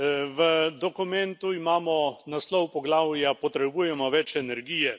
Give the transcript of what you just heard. V dokumentu imamo naslov poglavja Potrebujemo več energije.